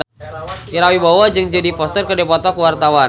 Ira Wibowo jeung Jodie Foster keur dipoto ku wartawan